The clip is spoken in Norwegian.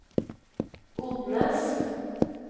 Odnes